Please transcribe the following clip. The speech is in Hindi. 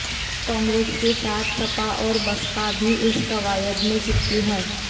कांग्रेस के साथ सपा और बसपा भी इस कवायद में चिपकी हैं